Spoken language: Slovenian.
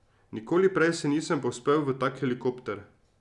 Nikoli prej se nisem povzpel v tak helikopter.